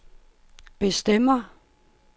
bestemmer